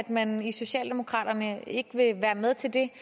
man i socialdemokraterne ikke vil være med til det